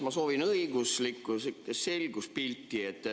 Ma soovin õiguslikku selgust.